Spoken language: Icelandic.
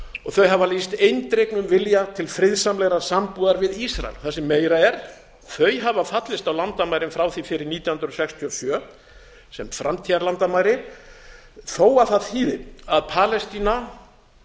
og þau hafa lýst eindregnum vilja til friðsamlegrar sambúðar við ísrael það sem meira er þau hafa fallist á landamærin frá því fyrir nítján hundruð sextíu og sjö sem framtíðarlandamæri þó að það þýði að palestína